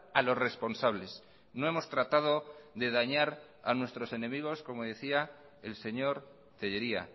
a los responsables no hemos tratado de dañar a nuestros enemigos como decía el señor tellería